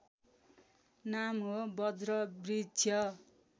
नाम हो बज्रवृक्ष